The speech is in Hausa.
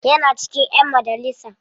Yana cikin ƴan majalisa.